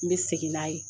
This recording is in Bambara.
N bɛ segin n'a ye